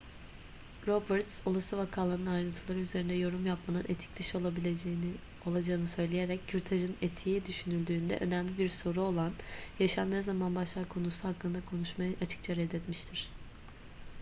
roberts olası vakaların ayrıntıları üzerinde yorum yapmanın etik dışı olacağını söyleyerek kürtajın etiği düşünüldüğünde önemli bir soru olan yaşam ne zaman başlar konusu hakkında konuşmayı açıkça reddetmiştir